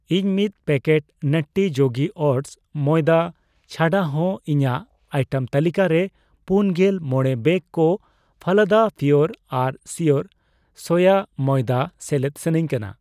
ᱤᱧ ᱢᱤᱛ ᱯᱮᱠᱮᱴ ᱱᱟᱴᱴᱤ ᱡᱳᱜᱤ ᱳᱴᱥ ᱢᱚᱭᱫᱟ ᱪᱷᱟᱰᱟ ᱦᱚ ᱤᱧᱟᱜ ᱟᱭᱴᱮᱢ ᱛᱟᱹᱞᱤᱠᱟ ᱨᱮ ᱯᱩᱱᱜᱮᱞ ᱢᱚᱲᱮ ᱵᱮᱜ ᱠᱚ ᱯᱷᱟᱞᱟᱫᱟ ᱯᱤᱭᱳᱨ ᱟᱨ ᱥᱤᱭᱳᱨ ᱥᱚᱭᱟ ᱢᱚᱭᱫᱟ ᱥᱮᱞᱮᱫ ᱥᱟᱱᱟᱧ ᱠᱟᱱᱟ ᱾